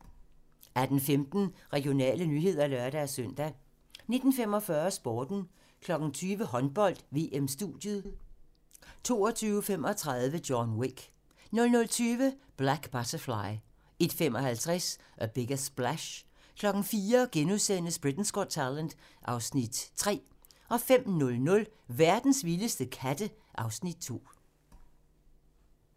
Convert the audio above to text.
18:15: Regionale nyheder (lør-søn) 19:45: Sporten 20:00: Håndbold: VM-studiet 22:35: John Wick 00:20: Black Butterfly 01:55: A Bigger Splash 04:00: Britain's Got Talent (Afs. 3)* 05:00: Verdens vildeste katte (Afs. 2)